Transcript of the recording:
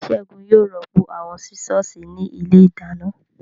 Ségun yóò rọ́pò àwọn Sísọ̀sì ní ilé ìdáná